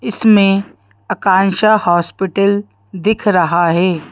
इसमें आकांक्षा हॉस्पिटल दिख रहा है।